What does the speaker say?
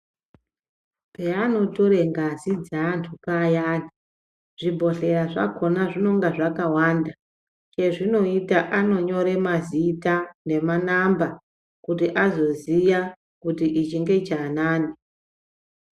Peanotora ngazi dzeantu payani zvibhodhleya zvakona zvinonge zvakawanda chezvinoita anonyore mazita nemanamba kuti azoziya kuti ichi ngechaanani.